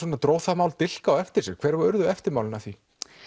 dró það mál dilk á eftir sér hver urðu eftirmálin af því